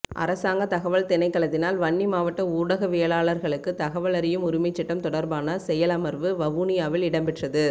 அரசாங்க தகவல் திணைக்களத்தினால் வன்னி மாவட்ட ஊடகவியலாளர்களுக்கு தகவல் அறியும் உரிமைச் சட்டம் தொடர்பான செயலமர்வு வவுனியாவில் இடம்பெற்றது